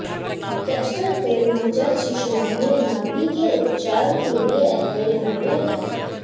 castor तेल नवजात शिशुओं में नाभि के उपचार के लिए अपरिहार्य है